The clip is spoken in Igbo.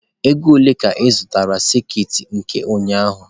Ego ole ka ị zụrụ sekit nke ụnyaahụ?